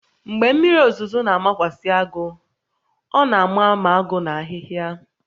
Mgbe mmiri ozuzo na-amakwasị agụ, ọ na-ama ma agụ na ahịhịa